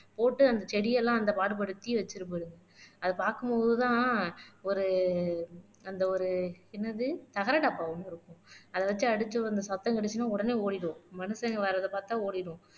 போட்டு அந்த செடியெல்லாம் அந்த பாடுபட்டுத்தி வச்சிரும் போயிரும் அது பார்க்கும் போதுதான் ஒரு அந்த ஒரு என்னது தகர டப்பா ஒண்ணு இருக்கும் அதை வச்சு அடிச்சு அந்த சத்தம் கிடைச்சுதுன்னா உடனே ஓடிடும் மனுஷங்க வர்றதை பார்த்தா ஓடிடும்